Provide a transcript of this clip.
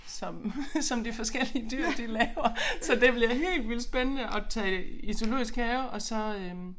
Som som de forskellige dyr de laver så det bliver helt vildt spændende at tage i Zoologisk Have og så øh